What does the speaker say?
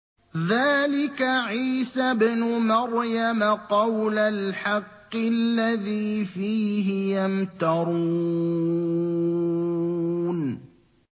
ذَٰلِكَ عِيسَى ابْنُ مَرْيَمَ ۚ قَوْلَ الْحَقِّ الَّذِي فِيهِ يَمْتَرُونَ